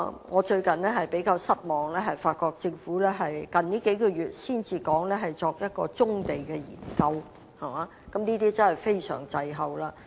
我近日較為失望，發現到政府於近月才提出會進行棕地研究，這其實便是相當滯後的。